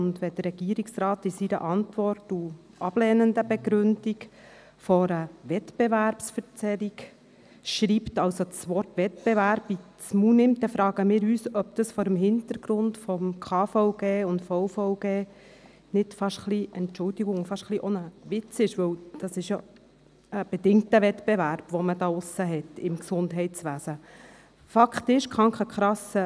Wenn der Regierungsrat in seiner Antwort bei der ablehnenden Begründung von einer Wettbewerbsverzerrung schreibt, wenn er also das Wort «Wettbewerb» benutzt, fragen wir uns, ob das vor dem Hintergrund des Bundesgesetzes über die Krankenversicherung (KVG) und des Bundesgesetzes über den Versicherungsvertrag (Versicherungsvertragsgesetz, VVG) nicht beinahe – Entschuldigung!